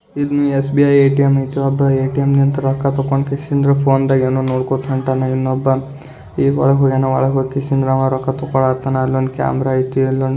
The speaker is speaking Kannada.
ಇಲ್ಲಿ ಎಸ್.ಬಿ.ಐ ಏ.ಟಿ.ಎಂ. ಐತಿ ಏ.ಟಿ.ಎಂ. ಇಂದ ರೊಕ್ಕ ತಕೊಂಡ್ ಕಿಸಿಯಂಗ್ ಫೋನ್ದಂಗ್ ಏನೋ ನೋಡ್ಕೋತಾ ಹೊಂಟಾನ ಇನ್ನೊಬ್ಬ ಈಗ್ ಒಳಗ್ ಹೋಗಿಯಾನಾ ಒಳಗ್ ಹೋಗಿ ಕಿಸಿಯಂಗ್ ಅವ ರೊಕ್ಕ ತಕೊಳ್ತಾನಾ ಅಲ್ಲೊಂದ್ ಕ್ಯಾಮೆರಾ ಐತೆ ಅಲ್ಲೊಂದ್ --